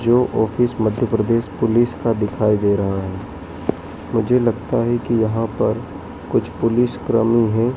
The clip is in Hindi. जो ऑफिस मध्य प्रदेश पुलिस का दिखाई दे रहा है मुझे लगता है कि यहां पर कुछ पुलिस क्रमी हैं।